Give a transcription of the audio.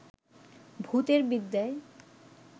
ভূতের বিদ্যেয়